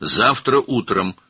Sabah səhər.